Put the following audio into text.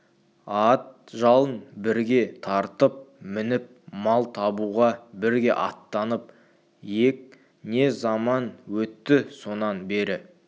ат жалын бірге тартып мініп мал табуға бірге аттанып ек не заман өтті сонан бері